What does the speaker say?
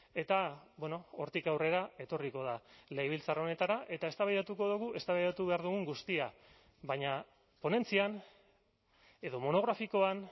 eta hortik aurrera etorriko da legebiltzar honetara eta eztabaidatuko dugu eztabaidatu behar dugun guztia baina ponentzian edo monografikoan